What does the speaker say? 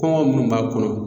Kɔngɔ minnu b'a kɔnɔ